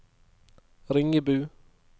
Ringebu